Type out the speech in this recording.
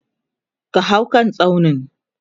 ka hau kan tsaunin!